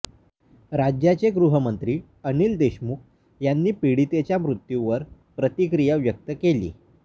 राज्याचे गृहमंत्री अनिल देशमुख यांनी पीडितेच्या मृत्यूवर प्रतिक्रिया व्यक्त केली